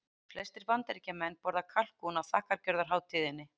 Flestir Bandaríkjamenn borða kalkún á þakkargjörðarhátíðinni.